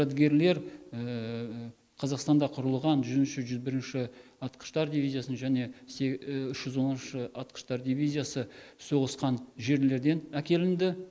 жәдігерлер қазақстанда құрылған жүзінші жүз бірінші атқыштар дивизиясының және үш жүз оныншы атқыштар дивизиясы соғысқан жерлерден әкелінді